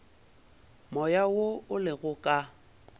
moya wo o lego ka